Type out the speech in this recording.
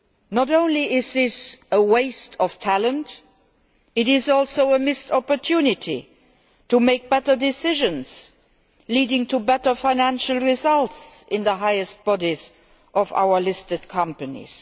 Not only is this a waste of talent, it is also a missed opportunity to make better decisions leading to better financial results in the highest bodies of our listed companies.